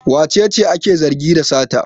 Wace ce ake zargi da sata?